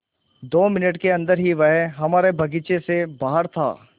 दो मिनट के अन्दर ही वह हमारे बगीचे से बाहर था